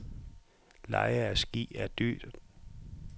Leje af ski er dyrt.